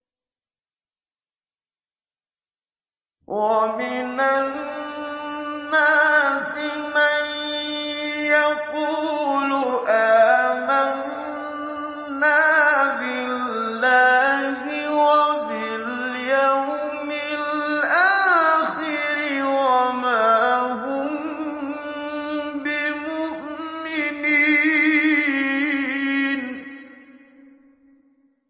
وَمِنَ النَّاسِ مَن يَقُولُ آمَنَّا بِاللَّهِ وَبِالْيَوْمِ الْآخِرِ وَمَا هُم بِمُؤْمِنِينَ